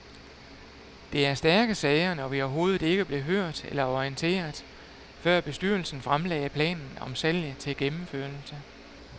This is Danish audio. Det er stærke sager, når vi overhovedet ikke blev hørt eller orienteret, før bestyrelsen fremlagde planen om salg til gennemførelse.